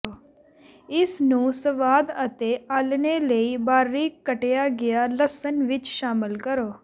ਇਸ ਨੂੰ ਸਵਾਦ ਅਤੇ ਆਲ੍ਹਣੇ ਲਈ ਬਾਰੀਕ ਕੱਟਿਆ ਗਿਆ ਲਸਣ ਵਿੱਚ ਸ਼ਾਮਲ ਕਰੋ